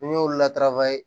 Ni n y'olu latara ye